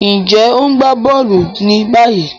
Njé o n gbà bóòlù ní báyìí?